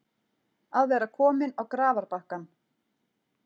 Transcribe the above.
Að vera kominn á grafarbakkann